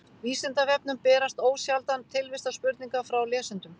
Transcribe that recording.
Vísindavefnum berast ósjaldan tilvistarspurningar frá lesendum.